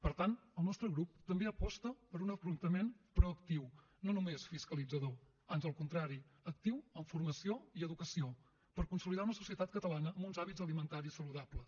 per tant el nostre grup també aposta per un afrontament proactiu no només fiscalitzador ans al contrari actiu en formació i educació per consolidar una societat catalana amb uns hàbits alimentaris saludables